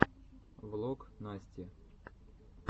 влог насти